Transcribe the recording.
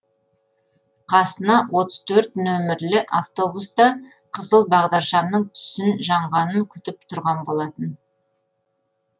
қасына отыз төрт нөмірлі автобуста қызыл бағдаршамның түсін жанғанын күтіп тұрған болатын